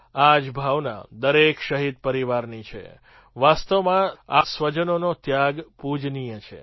આ જ ભાવના દરેક શહીદ પરિવારની છે વાસ્તવમાં આ સ્વજનોનો ત્યાગ પૂજનીય છે